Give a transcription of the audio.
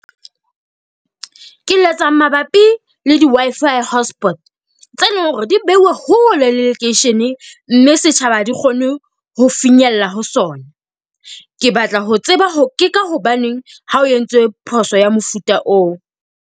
Ke letsa mabapi le di-Wi-Fi hotspot tse leng hore di beuwe hole le lekeishene, mme setjhaba ha di kgone ho finyella ho sona. Ke batla ho tseba ho ke ka hobaneng ha o entswe phoso ya mofuta oo?